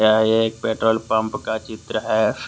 यह एक petrol pump का चित्र है।